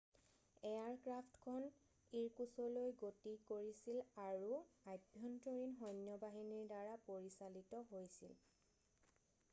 এয়াৰক্ৰাফ্টখন ইৰকুছলৈ গতি কৰিছিল আৰু আভ্যন্তৰীণ সৈন্য বাহিনীৰ দ্বাৰা পৰিচালিত হৈছিল